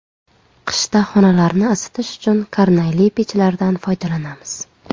Qishda xonalarni isitish uchun karnayli pechlardan foydalanamiz.